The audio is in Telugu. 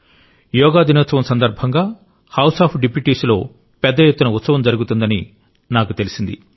యోగా దినోత్సవం సందర్భంగా హౌస్ ఆఫ్ డిప్యూటీస్ లో పెద్ద ఎత్తున ఉత్సవం జరుగుతుందని నాకు తెలిసింది